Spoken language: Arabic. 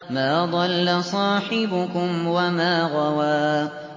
مَا ضَلَّ صَاحِبُكُمْ وَمَا غَوَىٰ